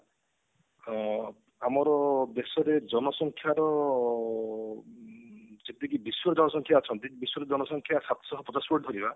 ଅ ଆମର ଦେଶର ଜନସଂଖ୍ୟା ତ ଯେତିକି ବିଶ୍ଵ ଜନସଂଖ୍ୟା ଅଛନ୍ତି ବିଶ୍ଵର ଜନସଂଖ୍ୟା ସାତ ଦଶମିକ କରିବା